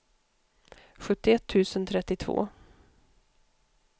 sjuttioett tusen trettiotvå